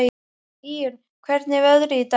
Íunn, hvernig er veðrið í dag?